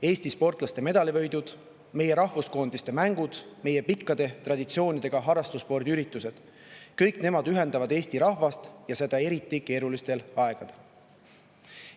Eesti sportlaste medalivõidud, meie rahvuskoondiste mängud, meie pikkade traditsioonidega harrastusspordi üritused – kõik need ühendavad Eesti rahvast, ja seda eriti keerulistel aegadel.